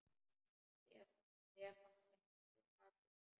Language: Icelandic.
Stefán gapti af undrun.